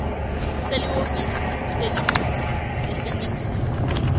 selihhovisi lelincusa laseningizimu